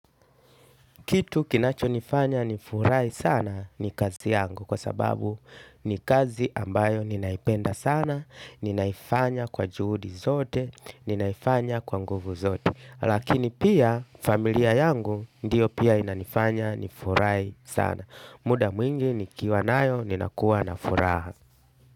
Kitu kinachonifanya nifurai sana, ni kazi yangu. Kwa sababu ni kazi ambayo ninaipenda sana, ninaifanya kwa juhudi zote, ninaifanya kwa nguvu zote. Lakini pia, familia yangu, ndiyo pia inanifanya ni furahi sana. Muda mwingi ni kiwa nayo ninakuwa na furaha.